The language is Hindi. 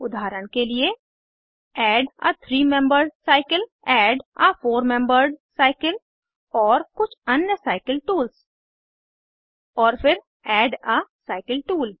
उदाहरण के लिए add a three membered cycle add a four membered cycle और कुछ अन्य साइकिल टूल्स और फिर एड आ साइकिल टूल